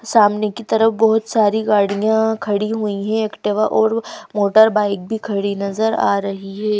सामने की तरफ बहुत सारी गाड़ियां खड़ी हुई हैं एक्टिवा और मोटर बाइक भी खड़ी नजर आ रही है।